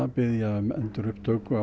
að biðja um endurupptöku